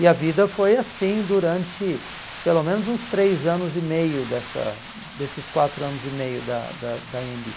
E a vida foi assim durante pelo menos uns três anos e meio dessa desses quatro anos e meio da da da Anhembi.